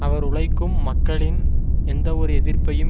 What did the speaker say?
அவர் உழைக்கும் மக்களின் எந்தவொரு எதிர்ப்பையும்